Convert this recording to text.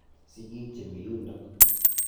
Sigik che mi yundok.